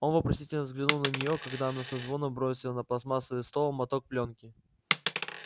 он вопросительно взглянул на нее когда она со звоном бросила на пластмассовый стол моток плёнки